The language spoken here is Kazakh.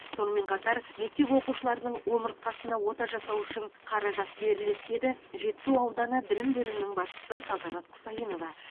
сонымен қатар мектеп оқушыларының омыртқасына ота жасау үшін қаражат беріледі деді жетісу ауданы білім бөлімінің басшысы салтанат құсайынова